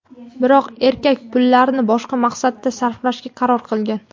Biroq erkak pullarni boshqa maqsadda sarflashga qaror qilgan.